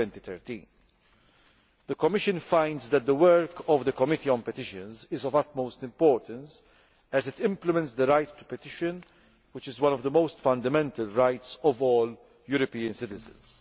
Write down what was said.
2013. The Commission finds that the work of the Committee on Petitions is of the utmost importance, as it implements the right to petition, which is one of the most fundamental rights of all European citizens.